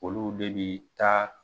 Olu de bi taa